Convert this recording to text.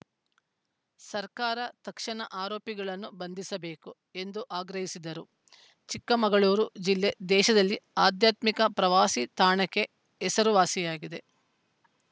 ಸರ್ಕಾರ ತಕ್ಷಣ ಆರೋಪಿಗಳನ್ನು ಬಂಧಿಸಬೇಕು ಎಂದು ಆಗ್ರಹಿಸಿದರು ಚಿಕ್ಕಮಗಳೂರು ಜಿಲ್ಲೆ ದೇಶದಲ್ಲೇ ಆಧ್ಯಾತ್ಮಿಕ ಪ್ರವಾಸಿ ತಾಣಕ್ಕೆ ಹೆಸರು ವಾಸಿಯಾಗಿದೆ